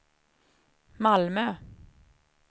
Malmö